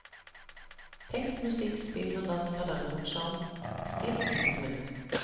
Tekst, musikk, spill og dans har derimot sjarm, stil og oppfinnsomhet.